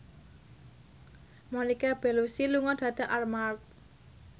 Monica Belluci lunga dhateng Armargh